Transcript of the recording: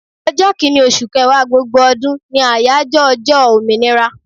Ọjọ́ Kínní, oṣù kẹwàá gbogbo ọdún ni àyájọ́ ọjọ́ òmìnira.